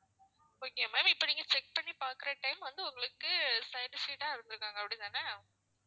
okay ma'am இப்போ நீங்க check பண்ணி பாக்குற time உங்களுக்கு side seat தான் தந்துருக்காங்க அப்படி தானே?